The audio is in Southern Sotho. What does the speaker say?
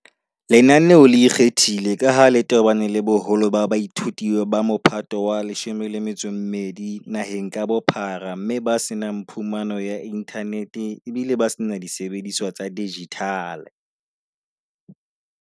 Lenaneo le ikgethile ka ha le tobane le boholo ba baithuti ba Mophato wa 12 naheng ka bophara mme ba se nang phumano ya inthanete ebile ba se na disebediswa tsa dijithale.